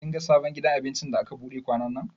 Kin ga sabon gidan abincin da aka buɗe kwanannan?